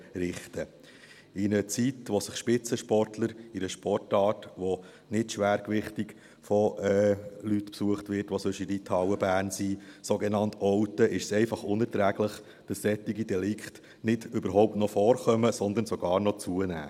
In einer Zeit, in der sich Spitzensportler in einer Sportart, die nicht schwergewichtig von Leuten besucht wird, die sonst in der Reithalle in Bern sind, sich sogenannt outen, ist es einfach unerträglich, dass solche Delikte überhaupt noch vorkommen, sondern sogar noch zunehmen.